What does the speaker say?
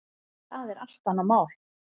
Það er allt annað mál.